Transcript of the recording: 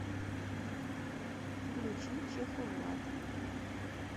включи чеховлад